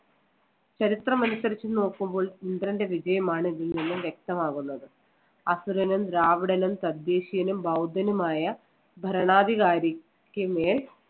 ചരിത്രം അനുസരിച്ച് നോക്കുമ്പോൾ ഇന്ദ്രന്‍റെ വിജയമാണ് ഇതിൽ നിന്നും വ്യക്തമാകുന്നത്. അസുരനും, ദ്രാവിഡനും, തദ്ദേശീയനും, ബൌദ്ധനുമായ ഭരണാധികാരിക്ക് മേൽ